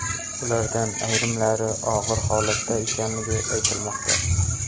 Ulardan ayrimlari og‘ir holatda ekanligi aytilmoqda.